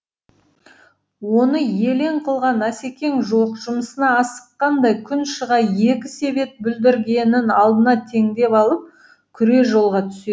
оны елең қылған асекең жоқ жұмысына асыққандай күн шыға екі себет бүлдіргенін алдына теңдеп алып күре жолға түседі